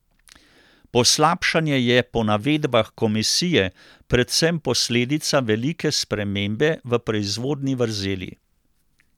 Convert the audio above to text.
Poslabšanje je po navedbah komisije predvsem posledica velike spremembe v proizvodni vrzeli.